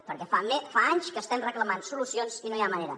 perquè fa anys que estem reclamant solucions i no hi ha manera